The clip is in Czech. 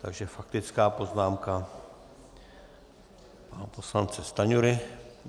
Takže faktická poznámka pana poslance Stanjury.